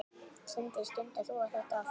Sindri: Stundar þú þetta oft?